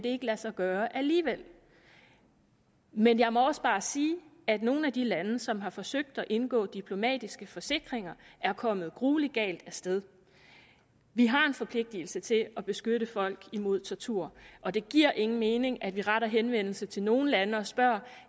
lade sig gøre alligevel men jeg må også bare sige at nogle af de lande som har forsøgt at indgå diplomatiske forsikringer er kommet gruelig galt af sted vi har en forpligtigelse til at beskytte folk mod tortur og det giver ingen mening at vi retter henvendelse til nogle lande og spørger